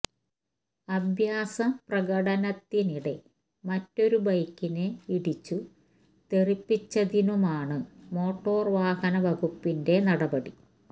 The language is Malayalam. അഭ്യാസ പ്രകടനത്തിനിടെ മറ്റൊരു ബൈക്കിനെ ഇടിച്ചു തെറിപ്പിച്ചതിനുമാണ് മോട്ടോര് വാഹന വകുപ്പിന്റെ നടപടി